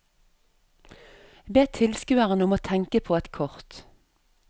Be tilskueren om å tenke på et kort.